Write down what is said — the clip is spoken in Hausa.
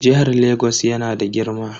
Jihar Lagos yana da girma.